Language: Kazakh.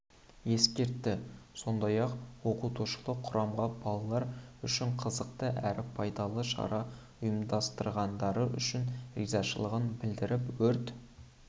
ескертті сондай-ақ оқытушылық құрамға балалар үшін қызықты әрі пайдалы шара ұйымдастырғандары үшін ризашылығын білдіріп өрт